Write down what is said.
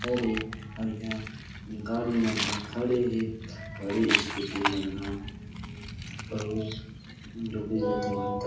अरे और यहाँ गाड़ी मन ह खड़े हे गाड़ी स्कूटी मन ह अउ डोकरी --